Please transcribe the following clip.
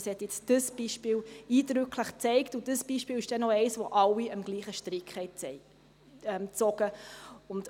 Das hat dieses Beispiel eindrücklich gezeigt, und dieses Beispiel ist noch eines, wo alle am gleichen Strick gezogen haben.